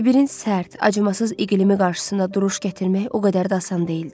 Sibirin sərt, acımasız iqlimi qarşısında duruş gətirmək o qədər də asan deyildi.